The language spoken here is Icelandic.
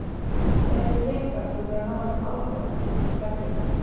Eru Blikar búnir að ná honum alveg út úr kerfinu?